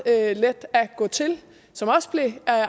let at gå til som også blev